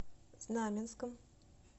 знаменском